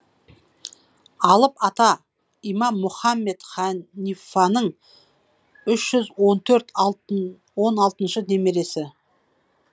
алып ата имам мұхаммед ханифаның үш жүз он төрт он алтыншы немересі